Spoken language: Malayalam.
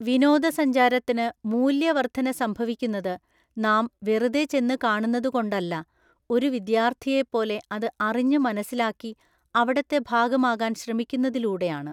വിനോദസഞ്ചാരത്തിന് മൂല്യവര്‍ധന സംഭവിക്കുന്നത് നാം വെറുതെ ചെന്നു കാണുന്നതുകൊണ്ടല്ല, ഒരു വിദ്യാര്‍ഥിയെപ്പോലെ അത് അറിഞ്ഞ് മനസ്സിലാക്കി അവിടത്തെ ഭാഗമാകാന്‍ ശ്രമിക്കുന്നതിലൂടെയാണ്.